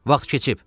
Vaxt keçib.